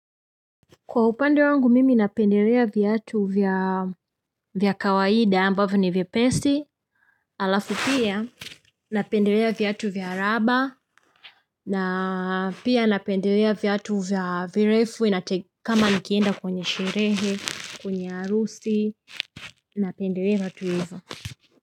Kwa upande wangu mimi napendelea viatu vya kawaida ambavyo ni vyepesi halafu pia napendelea viatu vya raba na pia napendelea viatu vya virefu na kama nikienda kwenye sherehe kwenye harusi napendelea viatu hivyo.